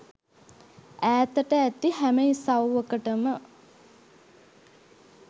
ඈතට ඇති හැම ඉසව්වකටම